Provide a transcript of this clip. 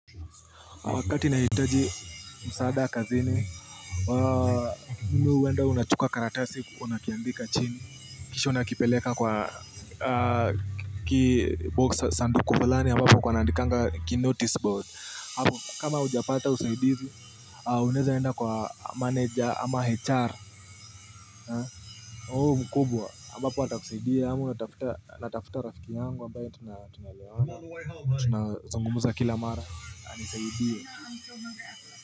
Wakati nahitaji msaada kazini, mimi uwenda unachuka karatasi, unakiandika chini Kisha unakipeleka kwa box sanduku fulani, ambapo kunaanandikanga ki notice board kama ujapata usaidizi, unaeza enda kwa manager ama HR, mkubwa, ambapo watakusaidie ama unatafuta natafuta rafiki yangu ambaye tunaelewana, tunazungumuza kila mara, anisaidie.